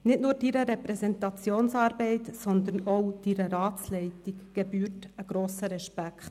Nicht nur Ihrer Repräsentationsarbeit, sondern auch Ihrer Ratsleitung gebührt grosser Respekt.